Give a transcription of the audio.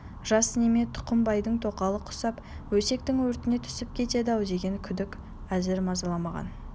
жас неме тұқымбайдың тоқалы құсап өсектің өртіне түсіп кетеді-ау деген күдік әзір мазаламаған